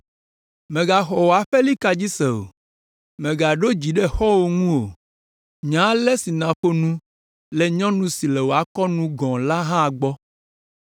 Mègaxɔ wò aƒelika dzi se o. Mègaɖo dzi ɖe xɔ̃wò ŋu o. Nya ale si nàƒo nu le nyɔnu si le akɔwò nu la gɔ̃ hã gbɔ